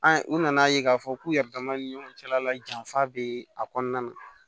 An u nana ye k'a fɔ k'u yɛrɛ dama ni ɲɔgɔn cɛla la janfa bɛ a kɔnɔna na